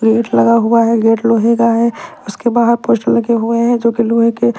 gate लगा हुआ है गेट लोहे का है उसके बाहर पोस्टर लगे हुए है जोकि लोहे के--